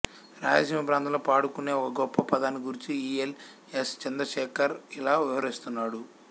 రాయలసీమ ప్రాంతంలో పాడుకునే ఒక గొప్ప పదాన్ని గూర్చి ఈ ఎల్ ఎస్ చంద్ర శేఖర్ ఇలా వివరిస్తున్నాడు